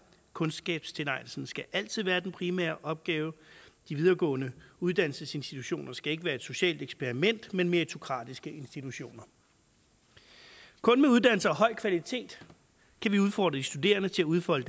kundskabstilegnelsen skal altid være den primære opgave de videregående uddannelsesinstitutioner skal ikke være et socialt eksperiment men meritokratiske institutioner kun med uddannelser af høj kvalitet kan vi udfordre de studerende til at udfolde